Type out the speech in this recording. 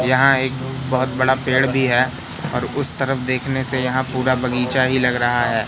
यहां एक बहोत बड़ा पेड़ भी है और उस तरफ देखने से यहां पूरा बगीचा ही लग रहा है।